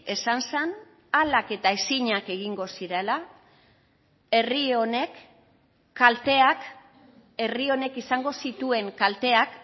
esan zen ahalak eta ezinak egingo zirela herri honek kalteak herri honek izango zituen kalteak